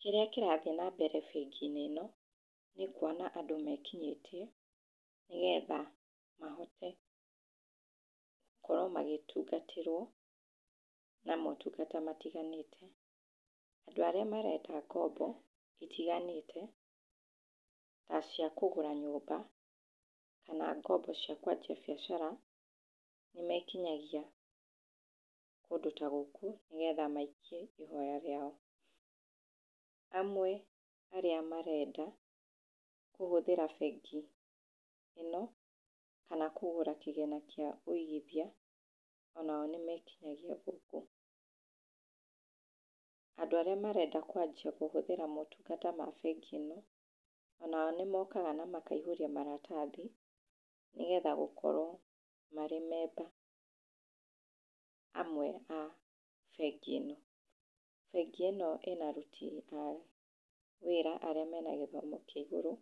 Kĩrĩa kĩrathiĩ na mbere bengi-inĩ ĩno, nĩ kuona andũ mekinyĩtie nĩgetha mahote gũkorwo magĩtungatĩrwo na motungata matiganĩte. Andũ arĩa marenda ngombo itiganĩte, ta cia kũgũra nyũmba, kana ngombo cia kwanjia biacara, nĩ mekinyagia kũndũ ta gũkũ nĩgetha maikie ihoya rĩao. Amwe arĩa marenda kũhũthĩra bengi ĩno, kana kũgũra kĩgĩna kĩa wĩigithia, onao nĩ mekinyagia gũkũ. Andũ arĩa marenda kwanjia kũhũhĩra motungata ma bengi ĩno, onao nĩ mokaga na makaihũria maratathi, nĩgetha gũkorwo marĩ memba amwe a bengi ĩno. Bengi ĩno ĩna aruti a wĩra arĩa mena gĩthomo kĩa igũrũ,